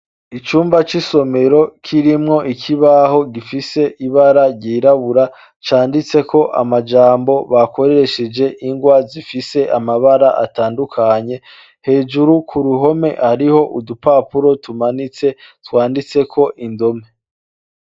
Icumba c'i somero kirimwo ikibaho gifise ibara ryirabura canditse ko amajambo bakoreesheje ingwa zifise amabara atandukanye, hejuru ku ruhome hariho udupapuro tumanitse twanditseko indome.